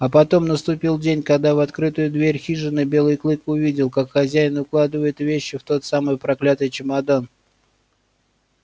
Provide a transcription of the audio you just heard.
а потом наступил день когда в открытую дверь хижины белый клык увидел как хозяин укладывает вещи в тот самый проклятый чемодан